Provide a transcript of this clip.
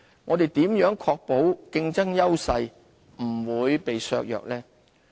我們如何確保競爭優勢不會被削弱呢？